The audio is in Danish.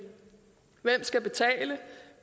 hvem skal betale